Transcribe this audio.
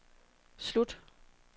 slut